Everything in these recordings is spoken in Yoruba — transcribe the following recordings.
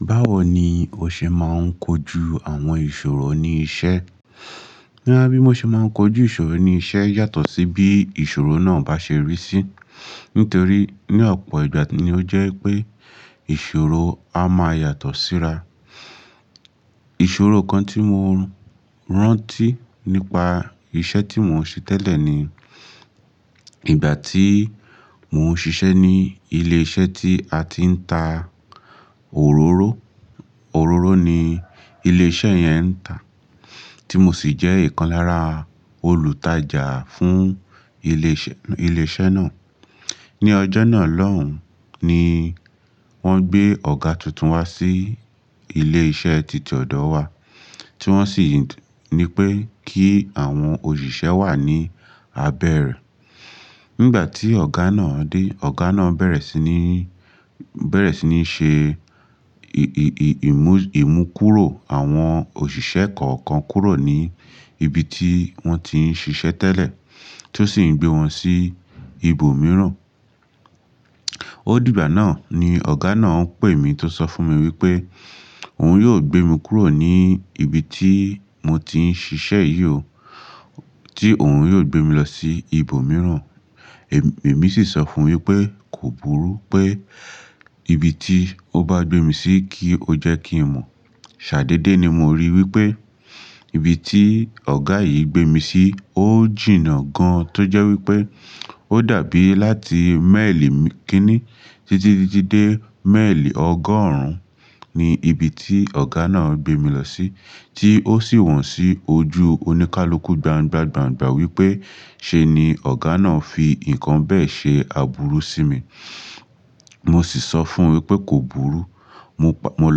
Báwo ni o ṣe máa ń kojú àwọn ìṣòro ní iṣẹ́? Bí mo ṣe máa ń kojú ìṣòro ní iṣẹ́ yàtọ̀ sí bí ìṣòro náà bá ṣe rí sí. Nítorí ní ọ̀pọ̀ ìgbà ni ó jẹ́ pé ìṣòro a máa yàtọ̀ síra. Ìṣòro kan tí mo rántí nípa iṣẹ́ tí mò ń ṣe tẹ́lẹ̀ ni, ìgbà tí mò ń ṣiṣẹ́ ní ilé iṣẹ́ tí a ti ń ta òróró. Òróró ni ilé iṣẹ́ yẹn ń tà tí mo sì jẹ́ ìkan lára olùtajà fún ilé iṣẹ́ náà. Ni ọjọ́ náà lọ́hùn, ni wọ́n gbé ọ̀gá tuntun wá sí ilé iṣẹ́ títí ọ̀dọ̀ wa tí wọ́n sì ní pé kí àwọn òṣìṣẹ́ wà ní abẹ́ rẹ̀. Nígbà tí ọ̀gá náà dé, ọ̀gá náà bẹ̀rẹ̀ sí ní, bẹ̀rẹ̀ sí ní ṣe ì-ì-ìmú-ìmúkúrò àwọn òṣìṣẹ́ kọ̀ọ̀kan kúrò ní ibi tí wọ́n ti ń ṣiṣẹ́ tẹ́lẹ̀ tí ó sì ń gbé wọn sí ibòmíràn. Ó dìgbà náà ni ọ̀gá náà pè mí tó sọ fún mi wípé òun yóò gbé mi kúrò ní ibi tí mo ti ń ṣiṣẹ́ yìí ó, tí òun yóò gbé mi lọ sí ibòmíràn. Èmi sì sọ fún un wípé, kò burú pé ibi tí ó bá gbé mi sí kí ó jẹ́ kí n mọ̀. Ṣà dédé dé ni mo rí wípé ibi tí ọ̀gá yìí gbé mi sí ó jìnnà gan. Tọ́ jẹ́ wípé ó dàbí láti mẹ́ẹ̀lì kíní títí dé mẹ́ẹ̀lì ọgọ́rùn ún ni ibi tí ọ̀gá náà gbé mi lọ sí tí ó sì wọ̀n sí ojú oníkálukú gbangba gbangba wípé ṣe ni ọ̀gá náà fi nǹkan bẹ́ẹ̀ ṣe àbúrú sí mi. Mo sì sọ fún un wípé kò burú. Mo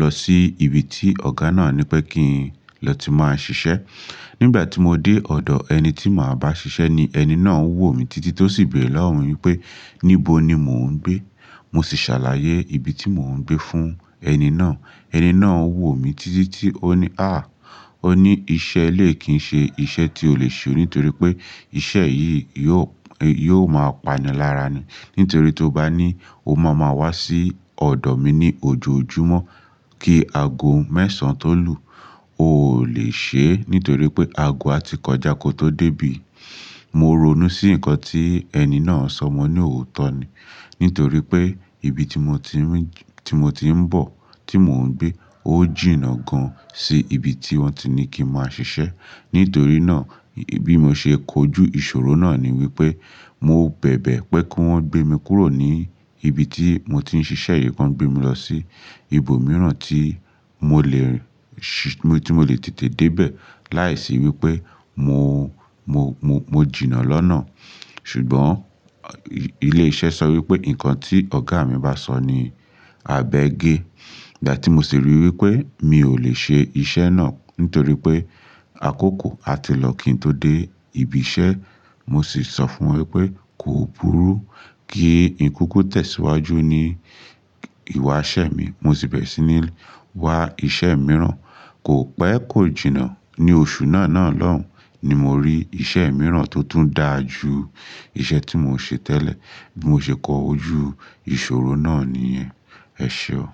lọ sí ibi tí ọ̀gá náà ní pé kí n lọ ti máa ṣiṣẹ́. Nígbà tí mo dé ọ̀dọ̀ ẹni tí màá bá ṣiṣẹ́ ni ẹni náà ń wò mí títí tó sì bé lọ́wọ́ mi wí pé níbo ni mò ń gbé? Mo sì ṣàlàyé ibi tí mò ń gbé fún ẹni náà. Ẹni náà ń wò mí títí tí ó ní, "àh!" Ó ní iṣẹ́ lè kí ń ṣe iṣẹ́ tí o lè ṣe o nítorí pé iṣẹ́ yìí yóò, yóò máa pani lára ni. Nítorí tó bá ní, o máa ma wá sí ọ̀dọ̀ mi ní ojoojúmọ́ kí ago mẹ́sàn-án tó lù, o ò lè ṣe é. Nítorí pé ago a ti kọjá kó n tó dé bí. Mo ronú sí nǹkan tí ẹni náà sọ mo ní òótọ́ ni. Nítorí pé ibi tí mo ti ń, tí mo ti ń bọ̀, tí mò ń gbé ó jìnnà gan sí ibi tí wọ́n ti ní kí n máa ṣiṣẹ́. Nítorí náà bí mo ṣe kojú ìṣòro náà ni wípé mò ń bẹ̀bẹ̀ pé kí wọ́n gbé mi kúrò ní ibi tí mò ti ń ṣiṣẹ́ yìí kí wọ́n gbé mi lọ sí ibòmíràn tí mò lè ṣí, tí mò lè tètè dé bẹ̀ láìsí wípé mo, mo, mo jìnnà lọ́nà. Ṣùgbọ́n ilé iṣẹ́ sọ wípé, "nǹkan tí ọ̀gá mi bá sọ ni abẹ́ ge." Ìgbà tí mo sì rí i wípé mi ò lè ṣe iṣẹ́ náà nítorí pé àkókò a ti lọ kí n tó dé ibi iṣẹ́. Mo sì sọ fún un wípé, kò burú kí n kúkú tẹ̀síwájú ní ìwà iṣẹ́ mi. Mo sì bẹ̀rẹ̀ sí ní wá iṣẹ́ mìíràn. Kò pẹ́, kò jìnnà. Ni oṣù náà náà lọ́hùn ni mo rí iṣẹ́ mìíràn tó tún dáa ju iṣẹ́ tí mò ń ṣe tẹ́lẹ̀. Bí mo ṣe kojú ìṣòro náà nìyẹn. Ẹ ṣé o.